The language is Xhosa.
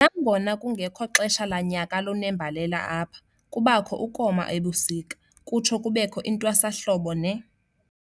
Nangona kungekho xesha lanyaka lunembalela apha, kubakho ukoma ebusika, kutsho kubekho intwasahlobo ne.